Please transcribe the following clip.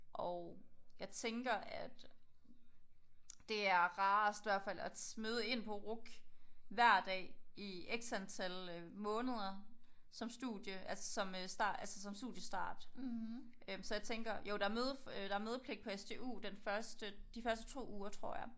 Og jeg tænker at det er rarest i hvert fald at møde ind på RUC hver dag i x antal måneder som studie altså som start altså som studiestart. Øh så jeg tænker jo der er møde der er mødepligt på SDU den første de første 2 uger tror jeg